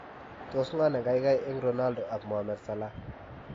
Tos ngo ne kaikai eng Ronaldo ak Mohamed Salah?